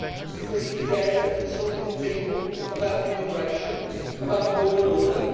Because he dared to consult with his people about immigration, about law and order?